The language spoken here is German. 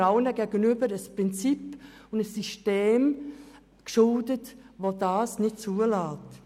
Dort sind wir allen ein Prinzip oder ein System schuldig, welches das nicht zulässt.